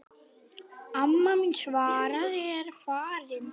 Amma mín Svava er farin.